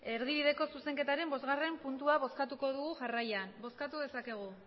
erdibideko zuzenketaren bosgarren puntua bozkatuko dugu jarraian bozkatu dezakegu